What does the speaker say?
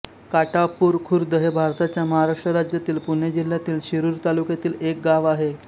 काठापुर खुर्द हे भारताच्या महाराष्ट्र राज्यातील पुणे जिल्ह्यातील शिरूर तालुक्यातील एक गाव आहे